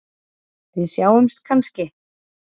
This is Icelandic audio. Við sjáumst kannski?